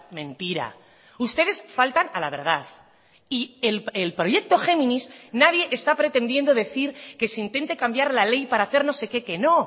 mentira ustedes faltan a la verdad y el proyecto géminis nadie está pretendiendo decir que se intente cambiar la ley para hacer no sé qué que no